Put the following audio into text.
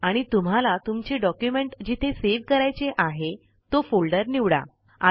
आणि तुम्हाला तुमचे डॉक्युमेंट जिथे सेव्ह करायचे आहे तो फोल्डर निवडा